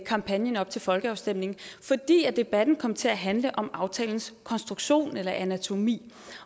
kampagnen op til folkeafstemningen fordi debatten kom til at handle om aftalens konstruktion eller anatomi